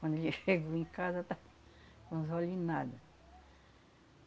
Quando ele chegou em casa, estava com os olhos em nada.